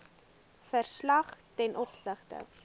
verslag ten opsigte